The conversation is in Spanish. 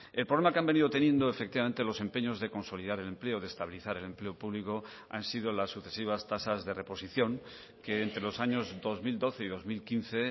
el problema que han venido teniendo efectivamente los empeños de consolidar el empleo de estabilizar el empleo público han sido las sucesivas tasas de reposición que entre los años dos mil doce y dos mil quince